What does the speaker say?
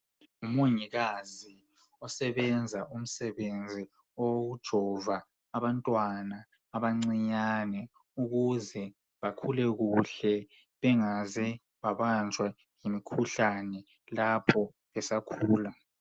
Ngumongikazi osebenza umsebenzi wokujova abantwana abancinyane ukuze bakhule kuhle bengaze babanjwa yimikhuhlane lapho besakhula.